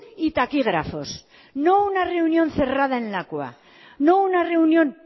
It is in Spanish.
y taquígrafos no una reunión cerrada en lakua no una reunión